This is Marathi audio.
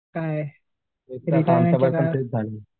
काय रिटायरमेंट चं काय